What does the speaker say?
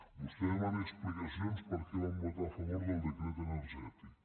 vostè demana explicacions de per què vam votar a favor del decret energètic